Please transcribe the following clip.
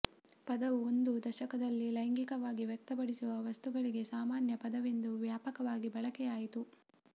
ಪದವು ಒಂದು ದಶಕದಲ್ಲಿ ಲೈಂಗಿಕವಾಗಿ ವ್ಯಕ್ತಪಡಿಸುವ ವಸ್ತುಗಳಿಗೆ ಸಾಮಾನ್ಯ ಪದವೆಂದು ವ್ಯಾಪಕವಾಗಿ ಬಳಕೆಯಾಯಿತು